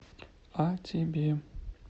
а тебе